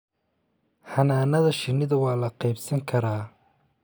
Xannaanada shinnida waa la qaybsan karaa